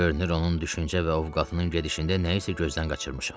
Görünür onun düşüncə və ovqatının gedişində nəyisə gözdən qaçırmışam.